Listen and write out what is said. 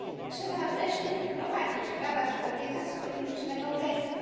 Trzeba wreszcie wyprowadzić prawa człowieka z politycznego getta.